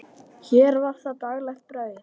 Hér var það daglegt brauð.